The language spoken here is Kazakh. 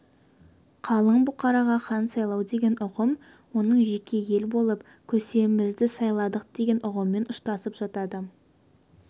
қалың бұқараға хан сайлау деген ұғым оның жеке ел болып көсемімізді сайладық деген ұғыммен ұштасып жатады